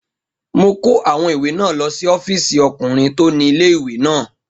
Mo kó àwọn ìwé náà lọ sí ọ́fìsì ọkùnrin tó ni ilé-ìwé náà